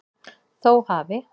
Þó hafi